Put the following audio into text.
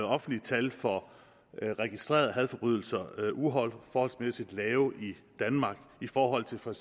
offentlige tal for registrerede hadforbrydelser uforholdsmæssigt lave i danmark i forhold til for